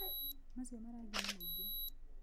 Macio marangi nĩ maingĩ.